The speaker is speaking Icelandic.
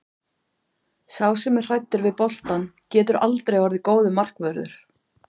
Sá sem er hræddur við boltann getur aldrei orðið góður markvörður.